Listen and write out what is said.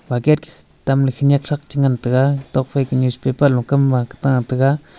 bucket tamle shinyak thak chingan taiga nokfai kanyi newspaper lokam maka ta taiga.